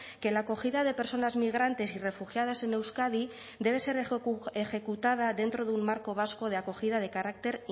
que la acogida de personas migrantes y refugiadas en euskadi debe ser ejecutada dentro de un marco vasco de acogida de carácter